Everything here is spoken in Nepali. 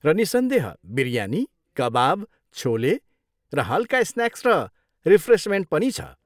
र निस्सन्देह, बिरयानी, कबाब, छोले, र हल्का स्न्याक्स र रिफ्रेसमेन्ट पनि छ।